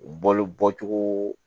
Balo bɔcogo